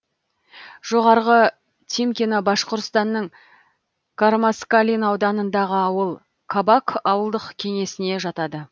жоғарғы тимкино башқұртстанның кармаскалин ауданындағы ауыл кабак ауылдық кеңесіне жатады